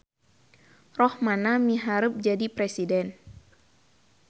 Rohmana miharep jadi presiden